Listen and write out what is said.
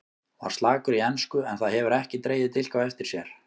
Var slakur í ensku en það hefur ekki dregið dilk á eftir sér.